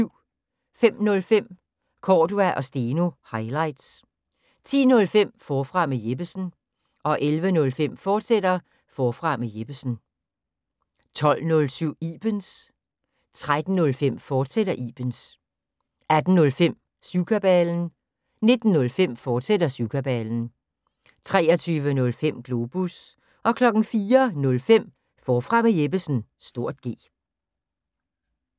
05:05: Cordua & Steno – highlights 10:05: Forfra med Jeppesen 11:05: Forfra med Jeppesen, fortsat 12:07: Ibens 13:05: Ibens, fortsat 18:05: Syvkabalen 19:05: Syvkabalen, fortsat 23:05: Globus 04:05: Forfra med Jeppesen (G)